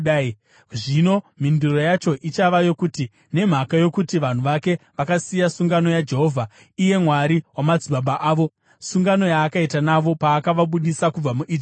Zvino mhinduro yacho ichava yokuti, “Nemhaka yokuti vanhu vake vakasiya sungano yaJehovha, iye Mwari wamadzibaba avo, sungano yaakaita navo paakavabudisa kubva muIjipiti.